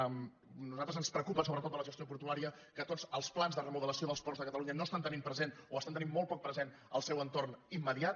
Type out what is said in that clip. a nosaltres ens preocupa sobretot de la gestió portuària que tots els plans de remodelació dels ports de catalunya no estan tenint present o estan tenint molt poc present el seu entorn immediat